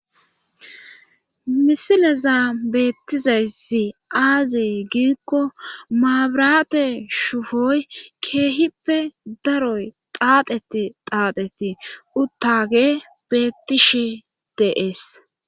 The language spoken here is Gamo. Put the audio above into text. Misilezan bettizayssi aaze giikko mabiraate shufoy keehippe daro xaaxetti xaatetti uttaagey beettishe de7ees.